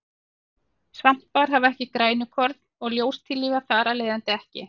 Svampar hafa ekki grænukorn og ljóstillífa þar af leiðandi ekki.